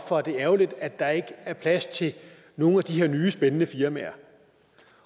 for at det er ærgerligt at der ikke er plads til nogle af de her nye spændende firmaer